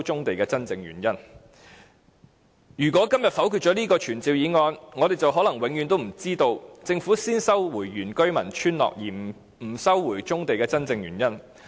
第一，如果今天否決了這項傳召議案，我們可能永遠不知道政府先收回非原居民村落土地而不收回棕地的真正原因。